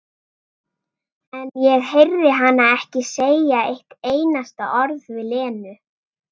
En ég heyrði hana ekki segja eitt einasta orð við Lenu.